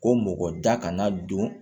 Ko mɔgɔ da kana don